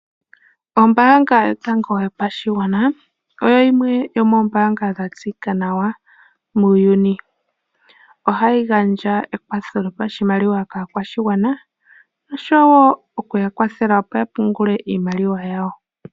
Oombanga yotango yopashigwana oyo yimwe yomoombanga dhatseyika nawa muuyuni ohayi gandja ekwatho lopashimaliwa kaakwashigwana osho woo okuyakwathela okupungula iimaliwa yawo.